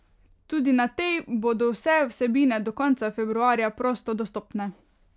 Tudi na tej bodo vse vsebine do konca februarja prosto dostopne.